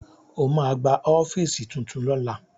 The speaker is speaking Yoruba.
Ó ma gba ọ́fíìsì tuntun lọ́la